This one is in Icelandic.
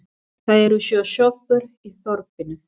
Það eru sjö sjoppur í þorpinu!